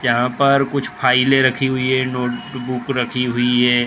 यहाँ पर कुछ फाइलें रखी हुई है नोटबुक रखी हुई है।